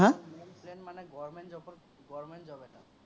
main plan মানে government job ত government job এটা।